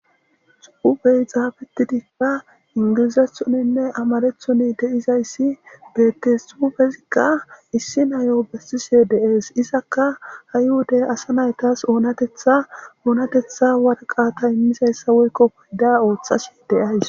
Xu7ubey xaabetidikka ingilizathoninne amarethoni deizayssi betesufezikka issi nayo bessise deees izakka ayhuday asa naytas oonatetha oonatetha warqata immizayssa woykko hoyda ooththashi deays